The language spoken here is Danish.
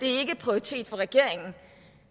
er en prioritet for regeringen